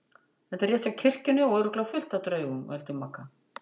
Þetta er rétt hjá kirkjunni og örugglega fullt af draugum. vældi Magga.